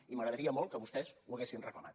i m’agradaria molt que vostès ho haguessin reclamat